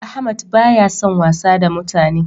Ahmad ba ya san wasa da mutane